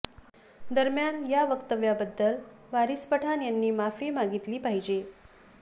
दरम्यान या वक्तव्याबद्दल वारिस पठाण यांनी माफी मागितली पाहिजे